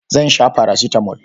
Zan sha farasitamol.